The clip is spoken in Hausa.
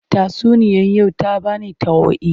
Tatsuniyar yau ta ba ni tauaayi.